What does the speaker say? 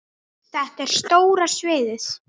Þetta er stóra sviðið.